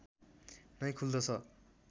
नै खुल्दछ